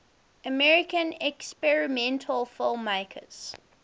american experimental filmmakers